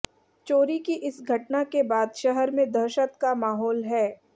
चोरी की इस घटना के बाद शहर में दहशत का माहौल है